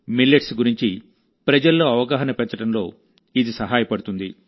millets గురించి ప్రజల్లో అవగాహన పెంచడంలో ఇది సహాయపడుతుంది